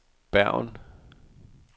Bergen